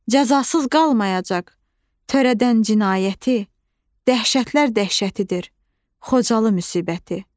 Cəzasız qalmayacaq törədən cinayəti, dəhşətlər dəhşətidir Xocalı müsibəti.